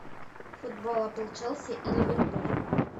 футбол апл челси и ливерпуль